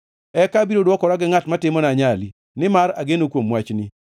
Eka abiro dwokora gi ngʼat ma timona anyali, nimar ageno kuom wachni.